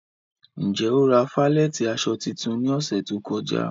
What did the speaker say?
Njẹ́ o ra falẹ̀tí aṣọ títún ní òṣè tó kọ̀já?